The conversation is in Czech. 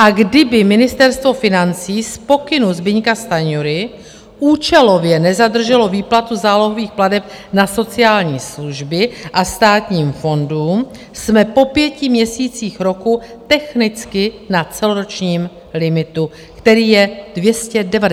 A kdyby Ministerstvo financí z pokynu Zbyňka Stanjury účelově nezadrželo výplatu zálohových plateb na sociální služby a státním fondům, jsme po pěti měsících roku technicky na celoročním limitu, který je 295 miliard korun.